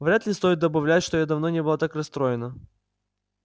вряд ли стоит добавлять что я давно не была так расстроена